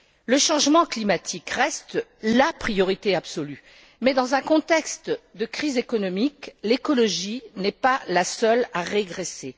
Le changement climatique reste la priorité absolue mais dans un contexte de crise économique, l'écologie n'est pas la seule à régresser.